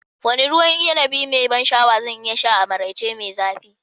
Wane ruwan inibi mai ban sha'awa zan iya sha a maraice mai zafi?